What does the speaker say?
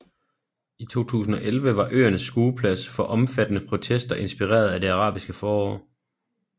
I 2011 var øerne skueplads for omfattende protester inspireret af Det Arabiske Forår